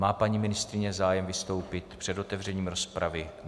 Má paní ministryně zájem vystoupit před otevřením rozpravy?